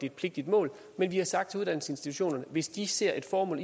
et pligtigt mål vi vi har sagt til uddannelsesinstitutionerne at hvis de ser et formål